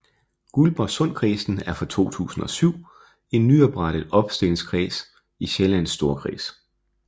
Guldborgsundkredsen er fra 2007 en nyoprettet opstillingskreds i Sjællands Storkreds